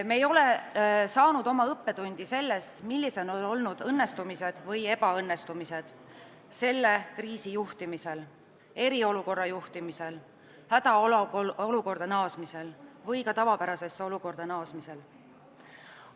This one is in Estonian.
Me ei ole saanud oma õppetundi sellest, millised on olnud õnnestumised või ebaõnnestumised selle kriisi juhtimisel, eriolukorra juhtimisel, hädaolukorda naasmisel ja ka tavapärasesse ellu naasmisel.